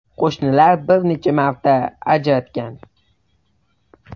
Qo‘shnilar bir necha marta ajratgan.